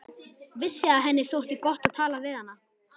Vissi að henni þótti gott að tala við hana.